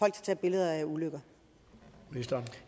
at tage billeder af ulykker